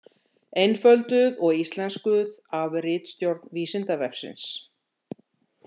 Einfölduð og íslenskuð af ritstjórn Vísindavefsins.